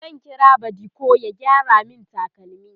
zan kira badiko ya gyara min takalmi